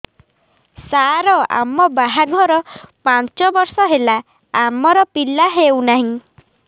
ସାର ଆମ ବାହା ଘର ପାଞ୍ଚ ବର୍ଷ ହେଲା ଆମର ପିଲା ହେଉନାହିଁ